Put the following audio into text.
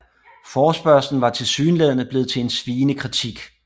Forespørgslen var tilsyneladende blevet til en sviende kritik